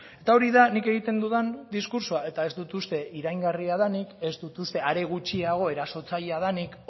eta hori da nik egiten dudan diskurtsoa eta ez dut uste iraingarria denik ez dut uste are gutxiago erasotzailea denik